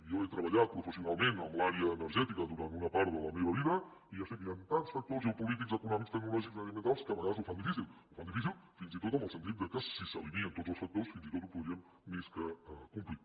jo he treballat professionalment en l’àrea energètica durant una part de la meva vida i ja sé que hi han tants factors geopolítics econòmics tecnològics mediambientals que a vegades ho fan difícil ho fan difícil fins i tot en el sentit que si s’alineen tots els factors fins i tot ho podríem més que complir